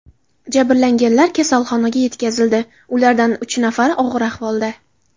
Jabrlanganlar kasalxonaga yetkazildi, ulardan uch nafari og‘ir ahvolda.